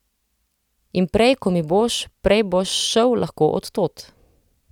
In prej ko mi boš, prej boš šel lahko od tod.